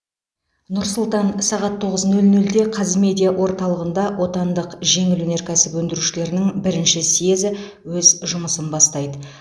нұр сұлтан сағат тоғыз нөл нөлде қазмедиа орталығында отандық жеңіл өнеркәсіп өндірушілерінің бірінші съезі өз жұмысын бастайды